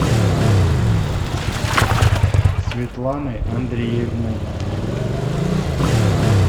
светланы андреевны